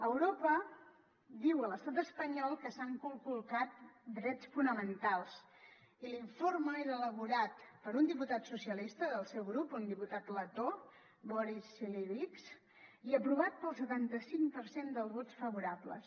europa diu a l’estat espanyol que s’han conculcat drets fonamentals i l’informe és elaborat per un diputat socialista del seu grup un diputat letó boriss cilevics i aprovat pel setanta cinc per cent dels vots favorables